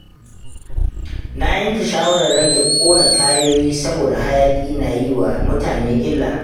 Na yanke shawarar rage ƙona tayoyi saboda hayaƙin na yi wa mutane illa.